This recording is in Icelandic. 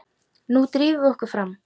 Nú drífum við okkur fram!